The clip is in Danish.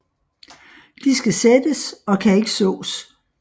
De skal sættes og kan ikke sås